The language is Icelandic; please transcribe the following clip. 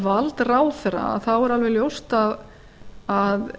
vald ráðherra þá er alveg ljóst að